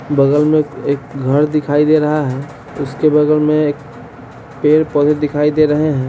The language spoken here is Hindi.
बगल मे ए एक घर दिखाई दे रहा है उसके बगल मे एक पेड-पौधे दिखाई दे रहे हैं।